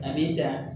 A b'i ja